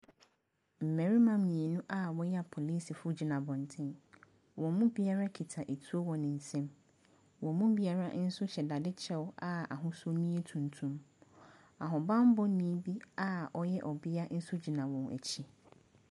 Mmarima mmienu a wɔyɛ apolisifoɔ gyina abɔnten. Wɔn mu bira kita nsuo wɔ ne nsam. Wɔn mu biara hyɛ dade kyɛ a ahosu no yɛ tuntum. Ahobanmmɔni a ɔyɛ ɔbea nso gyina wɔn nkyɛn.